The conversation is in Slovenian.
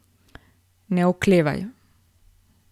Ne oklevaj!